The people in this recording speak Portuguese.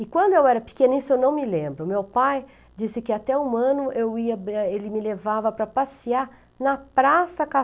E quando eu era pequena, isso eu não me lembro, meu pai disse que até um ano eu ia é, ele me levava para passear na Praça